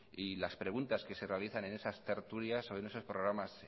y las preguntas que se realizan en esas tertulias o en esos programas